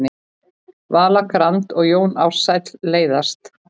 Vala Grand og Jón Ársæll leiðast